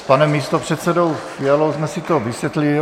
S panem místopředsedou Fialou jsme si to vysvětlili.